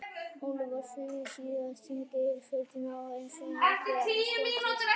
Ólafur fór suður og síðar á þing fyrir sveitina eins og öll efni stóðu til.